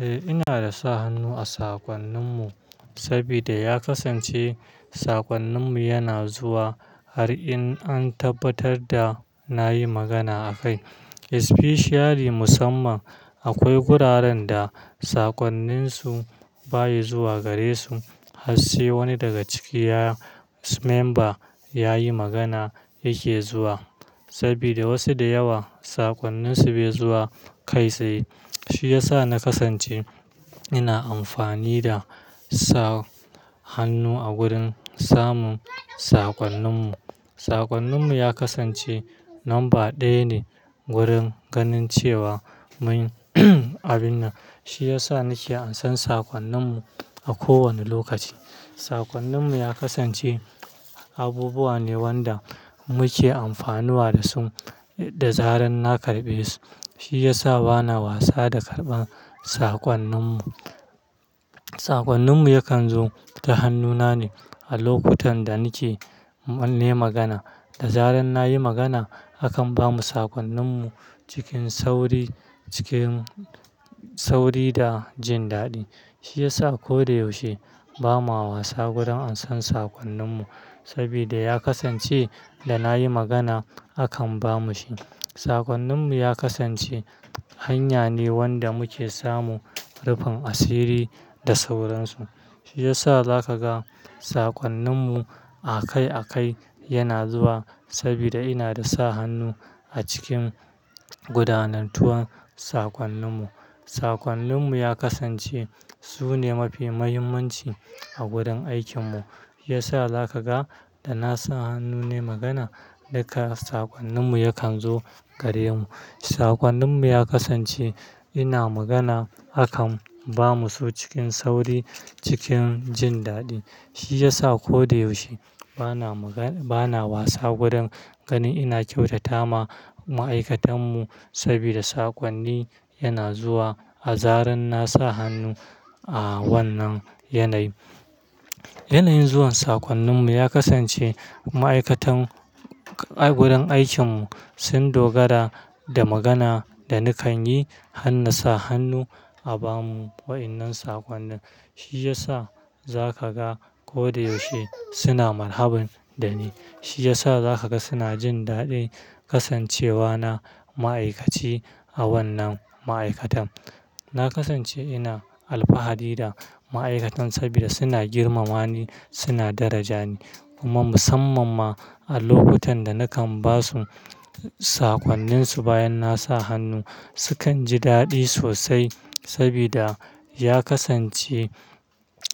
Eh, ina da sa hannu a sakwannin mu sabida ya kasance sakwannin mu yana zuwa har in an tabbatar da na yi magana a kai. Especially musamman akwai guraren da sakwannin su ba ya zuwa gare su har sai wani daga cikiya member ya yi magana yake zuwa. Saboda wasu da yawa sakwannin su bai zuwa kai sai. Shi ya sa na kasance ina amfani da sa hannu a gurin samun sakwannin mu. Sakwannin mu ya kasance lamba ɗaya ne wurin ganin cewa mun abin nan. Shi ya sa nake ansan sakwannin mu a ko wane lokaci. Sakwannin mu ya kasance abubuwa ne wanda muke amfanuwa da su da zarar na karɓe su. Shi ya sa bana wasa da karɓan sakwannin mu. Sakwannin mu yakan zo ta hannuna ne a lokutan da nike manne magana. Da zarar nayi magana, akan bamu sakwannin mu cikin sauri, cikin sauri da jin daɗi. Shi ya sa ko da yaushe bamawa sa gurin ansan sakwannin mu. Saboda ya kasance da nayi magana akan bamu shi. Sakwannin mu ya kasance hanya ne wanda muke samu rufin asiri da sauransu. Shi ya sa zaka ga sakwannin mu a kai a kai yana zuwa saboda ina da sa hannu a cikin gudanantuwan sakwannin mu. Sakwannin mu ya kasance su ne mafi muhimmanci a gurin aikin mu. Ya sa za ka ga da na sa hannu ne magana, duka sakwannin mu yakan zo gare mu. Sakwannin mu ya kasance ina magana akan bamu su cikin sauri, cikin jin daɗi. Shi ya sa ko da yaushe bana maga- bana wasa gurin ganin ina kyautata ma ma'aikatan mu sabida sakwannin yana zuwa a zarar na sa hannu a wannan yanayi. Yanayin zuwan sakwannin mu ya kasance ma'aikatan a gurin aikin mu sun dogara da magana da nakan yi har na sa hannu a bamu wa'innan sakwannin. Shi ya sa za ka ga ko da yaushe suna marhabun da ni. Shi ya sa za ka ga suna jin daɗi kasancewa na ma'aikaci a wannan ma'aikatan. Na kasance ina alfahari da ma'aikatan saboda suna girmama ni, suna daraja ni. Kuma musamman ma a lokutan da nakan ba su sakwannin su bayan na sa hannu, sukan ji daɗi sosai sabida ya kasance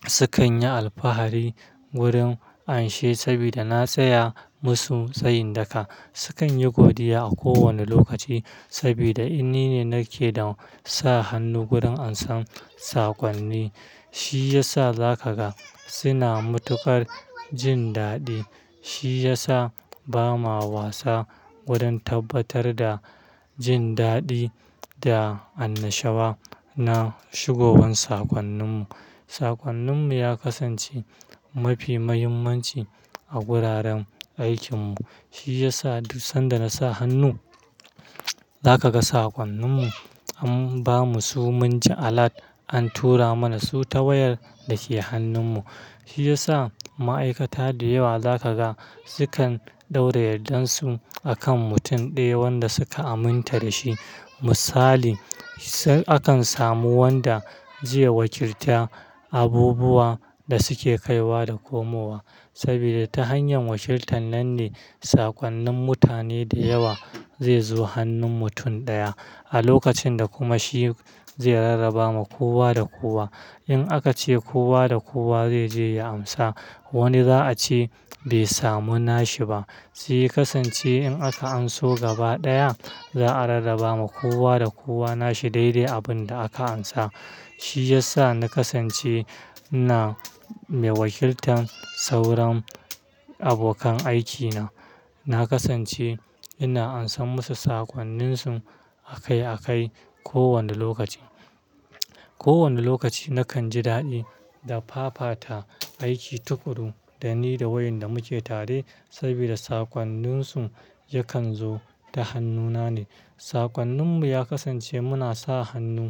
sukan yi alfahari gurin an shi saboda na tsaya masu tsayin daka. Sukan yi godiya a kowane lokaci saboda in nine nake da sa hannu gurin ansan sakwannin. Shi ya sa za ka ga suna matukar jin daɗi. Shi ya sa bamawa sa gurin tabbatar da jin daɗi da annashawa na shigowan sakwannin mu. Sakwannin mu ya kasance mafi muhimmanci a guraren aikin mu. Shi ya sa duk sanda na sa hannu, za ka ga sakwannin mu an bamu su munje alat, an tura mana su ta wayar dake hannun mu. Shi ya sa ma'aikata da yawa za ka ga sukan ɗaura yandansu akan mutum ɗaya wanda suka aminta da shi. Misali, sai akan samu wanda zai wakilta abubuwa da suke kaiwa da komowa. Sabida ta hanyar wakiltan nan ne sakwannin mutane da yawa zai zo hannun mutum ɗaya. A lokacin da kuma shi zai rarraba ma kowa da kowa. In aka ce kowa da kowa zai je ya amsa, wani za a ce bai samu nashi ba. Shi ya kasance in aka anso gaba ɗaya, za'a rarraba ma kowa da kowa nashi daidai abin da aka ansa. Shi ya sa na kasance ina mai wakiltan sauran abokan aikina. Na kasance ina ansan musu sakwannin su a kai a kai ko wane lokaci. Ko wane lokaci nakan ji daɗi da fafata aiki tukuru da ni da wayanda muke tare saboda sakwannin su yakan zo ta hannuna ne. Sakwannin mu ya kasance muna sa hannu.